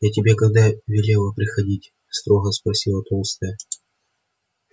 я тебе когда велела приходить строго спросила толстая